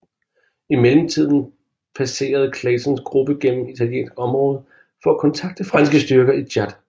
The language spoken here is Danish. I mellemtiden passerede Claytons gruppe gennem italiensk område for at kontakte franske styrker i Tchad